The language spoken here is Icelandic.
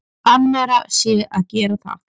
Annarra sé að gera það.